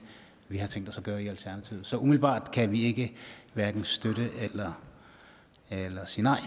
vi har tænkt os at gøre i alternativet så umiddelbart kan vi hverken støtte eller sige nej